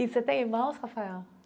E você tem irmãos, Rafael?